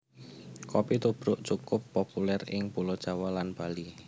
Kopi tubruk cukup populèr ing Pulo Jawa lan Bali